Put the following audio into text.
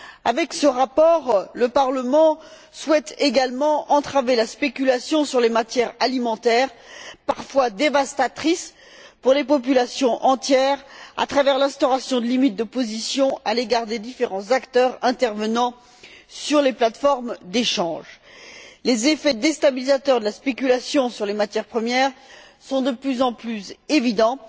Avec ce rapport, le Parlement souhaite également entraver la spéculation sur les matières alimentaires, parfois dévastatrice pour des populations entières, à travers l'instauration de limites de positions à l'égard des différents acteurs intervenant sur les plates formes d'échanges. Les effets déstabilisateurs de la spéculation sur les matières premières sont de plus en plus évidents,